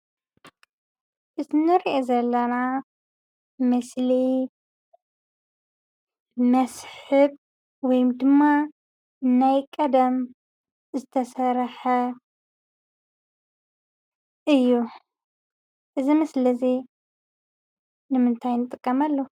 እዚ እንሪኦ ዘለና ምስሊ መስሕብ ወይ ድማ ናይ ቀደም ዝተሰርሐ እዩ፡፡ እዚ ምስሊ እዚ ንምንታይ ንጥቀመሉ?